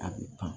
A bɛ kan